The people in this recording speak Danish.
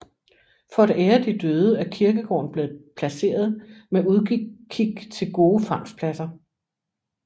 For at ære de døde er kirkegården blevet placeret med udkig til gode fangstpladser